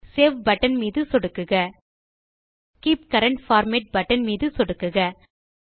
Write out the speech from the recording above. save button மீது சொடுக்குக keep current format button மீது சொடுக்குக